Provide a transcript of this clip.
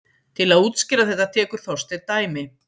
Til að útskýra þetta tekur Þorsteinn dæmi: